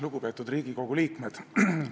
Lugupeetud Riigikogu liikmed!